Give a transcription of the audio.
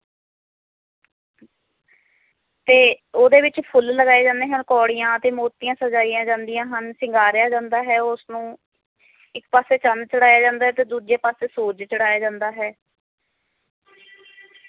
ਤੇ ਓਹਦੇ ਵਿਚ ਫੁਲ ਲਗਾਏ ਜਾਂਦੇ ਹਨ ਕੌੜੀਆਂ ਤੇ ਮੂਰਤੀਆਂ ਲਗਾਈਆਂ ਜਾਂਦੀਆਂ ਹਨ ਸ਼ਿੰਗਾਰਿਆਂ ਜਾਂਦਾ ਹੈ ਉਸਨੂੰ ਇੱਕ ਪਾਸੇ ਚੰਨ ਚੜਾਇਆ ਜਾਂਦਾ ਹੈ ਤੇ ਦੂਜੇ ਪਾਸੇ ਸੂਰਜ ਚੜਾਇਆ ਜਾਂਦਾ ਹੈ